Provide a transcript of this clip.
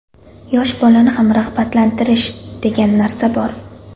Yosh bolani ham rag‘batlantirish, degan narsa bor.